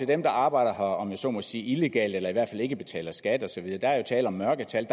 dem der arbejder her om jeg så må sige illegalt eller i hvert fald ikke betaler skat og så videre der er jo tale om mørke tal